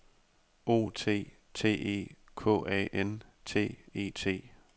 O T T E K A N T E T